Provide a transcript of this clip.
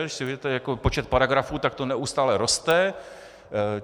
Když si vezmete počet paragrafů, tak to neustále roste.